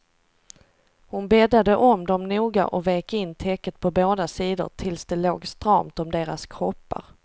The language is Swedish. Hon bäddade om dem noga och vek in täcket på båda sidorna tills det låg stramt om deras kroppar.